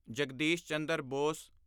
Jagdish Chandra Bose